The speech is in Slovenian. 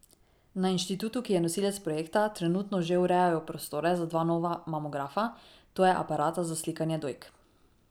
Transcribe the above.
Na inštitutu, ki je nosilec projekta, trenutno že urejajo prostore za dva nova mamografa, to je aparata za slikanje dojk.